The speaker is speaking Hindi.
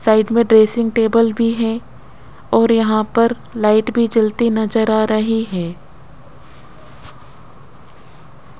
साइड में ड्रेसिंग टेबल भी है और यहां पर लाइट भी जलती नजर आ रही हैं।